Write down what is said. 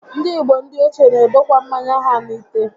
Ndị igbo ndị ochie n'edokwa mmanya ha n'ite